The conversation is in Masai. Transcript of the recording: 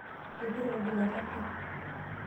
Eipute orgilata pi.